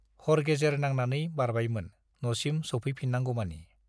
हर-गेजेर नांनानै बारबायमोन, न'सिम सौफैफिनगौमानि।